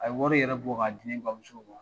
A ye wari yɛrɛ bɔ ka di ne bamuso ma.